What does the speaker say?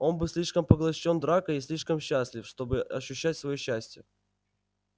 он был слишком поглощён дракой и слишком счастлив чтобы ощущать своё счастье